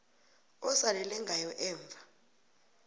osalele ngayo emva